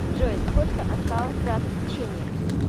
джой сколько осталось до отключения